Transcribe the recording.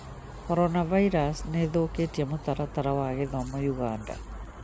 Coronavirus nĩĩthũkĩtie mũtaratara wa gĩthomo Uganda